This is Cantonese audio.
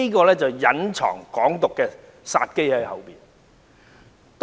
它背後隱藏着"港獨"的殺機。